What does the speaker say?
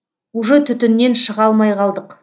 уже түтіннен шыға алмай қалдық